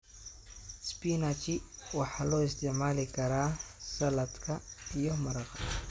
Spinachi waxay loo isticmaali karaa saladka iyo maraqa.